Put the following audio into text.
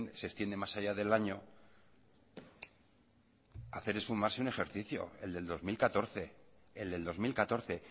se extiende más allá de año hacer esfumarse un ejercicio el del dos mil catorce el del dos mil catorce